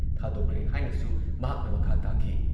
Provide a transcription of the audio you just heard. ꯊꯥꯗꯣꯛꯈ꯭ꯔꯦ ꯍꯥꯏꯅꯁꯨ ꯃꯍꯥꯛꯅ ꯃꯈꯥ ꯇꯥꯈꯤ ꯫